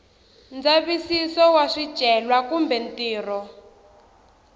ndzavisiso wa swicelwa kumbe ntirho